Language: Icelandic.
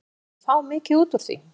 Skyldi hún fá mikið út úr því?